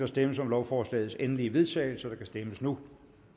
stemmes om lovforslagets endelige vedtagelse og der kan stemmes nu